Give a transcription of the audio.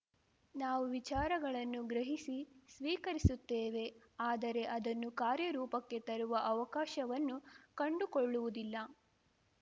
ನಾವು ವಿಚಾರಗಳನ್ನು ಗ್ರಹಿಸಿ ಸ್ವೀಕರಿಸುತ್ತೇವೆ ಆದರೆ ಅದನ್ನು ಕಾರ್ಯ ರೂಪಕ್ಕೆ ತರುವ ಅವಕಾಶವನ್ನು ಕಂಡುಕೊಳ್ಳುವುದಿಲ್ಲ